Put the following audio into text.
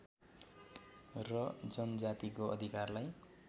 र जनजातिको अधिकारलाई